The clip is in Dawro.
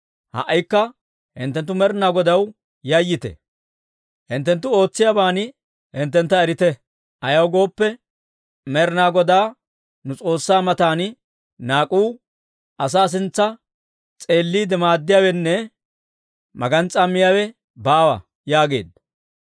Ha"ikka hinttenttu Med'inaa Godaw yayyite; hinttenttu ootsiyaaban hinttentta erite. Ayaw gooppe, Med'inaa Godaa nu S'oossaa matan naak'uu, asaa sintsa s'eelliide maaddiyaawenne magans's'aa miyaawe baawa» yaageedda.